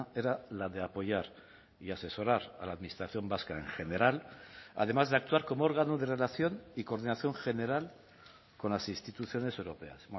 era la de apoyar y asesorar a la administración vasca en general además de actuar como órgano de relación y coordinación general con las instituciones europeas